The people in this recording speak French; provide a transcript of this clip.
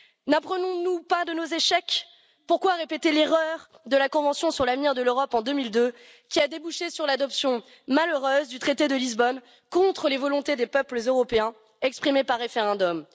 N'apprenons nous pas de nos échecs? Pourquoi répéter l'erreur de la convention sur l'avenir de l'Europe en 2002, qui a débouché sur l'adoption malheureuse du traité de Lisbonne contre les volontés des peuples européens exprimées par référendum?